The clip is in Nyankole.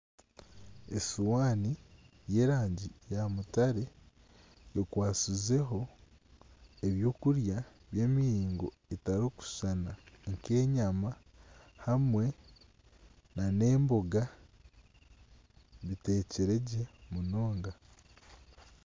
Esihaani y'erangi ya mutare ekwatsizeho ebyokurya by'emiringo etarikushushana nk'enyama hamwe nana emboga biteekiregye munonga.